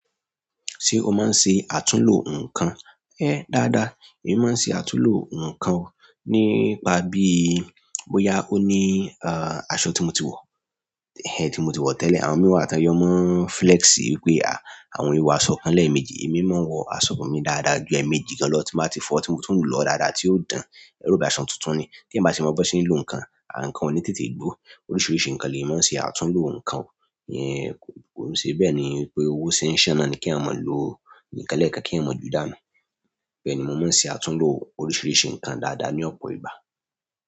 Ṣé o máa ń ṣe àtúnlo nǹkan? Ẹ dáadáa, èmi máa ń ṣe àtúnlo nǹkan, nípa bí bóyá ó ní aṣọ tí mo ti wọ, tí mo ti wọ tẹ́lẹ̀. Àwọn míì wà tó ń yọ máa ń flexi wípé àwọn ò í wò aṣọ kan léèmejì. Èmi máa ń wọ aṣọ mi dáadáa ju ẹ̀ẹ̀méjì gan-an lọ tí n bá ti fọ̀ọ́, tí mo tún lọ̀ọ́ dáadáa tí ó dán, ẹ̀ẹ́ rò bóyá aṣọ tuntun ni. Kéèyàn bá ṣe mọ b'ọ́n ṣe ń lò nǹkan, nǹkan ò ní tètè gbó. Oríṣìíríṣìí nǹkan lèèyàn máa ń ṣe àtúnlo nǹkan. Ìyẹn, kò ń ṣe bẹ́ẹ̀ ni wípé owó ṣe ń ṣàn náà ni kéèyàn máa lò nǹkan lẹ́ẹ̀kan kan kéèyàn máa jùú dànù. Bẹ́ẹ̀ni, mo máa ń ṣe àtúnlo oríṣìíríṣìí nǹkan ǹkan dáadáa ní ọ̀pọ̀ ìgbà.